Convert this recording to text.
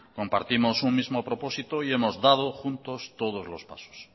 compartimos un mismo propósito y hemos dado juntos todos los pasos